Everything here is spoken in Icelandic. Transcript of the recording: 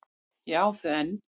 Ég á þau enn.